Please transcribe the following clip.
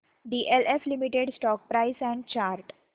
DLF limited stock price and chart